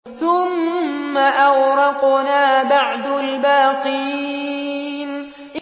ثُمَّ أَغْرَقْنَا بَعْدُ الْبَاقِينَ